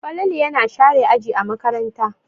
Falalu yana share aji a makaranta.